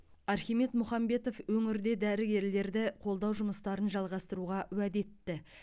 архимед мұхамбетов өңірде дәрігерлерді қолдау жұмыстарын жалғастыруға уәде етті